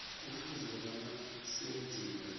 kufuze bona senziwe